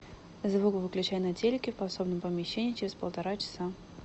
звук выключай на телике в подсобном помещении через полтора часа